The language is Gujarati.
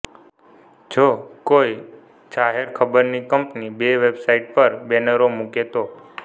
જો કોઈ જાહેરખબરની કંપની બે વેબસાઈટ પર બેનરો મુકે તો